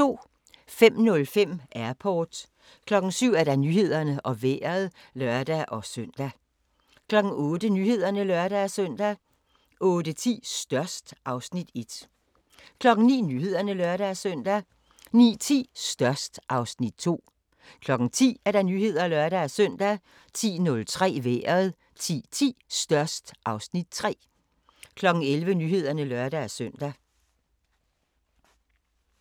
05:05: Airport 07:00: Nyhederne og Vejret (lør-søn) 08:00: Nyhederne (lør-søn) 08:10: Størst (Afs. 1) 09:00: Nyhederne (lør-søn) 09:10: Størst (Afs. 2) 10:00: Nyhederne (lør-søn) 10:03: Vejret 10:10: Størst (Afs. 3) 11:00: Nyhederne (lør-søn)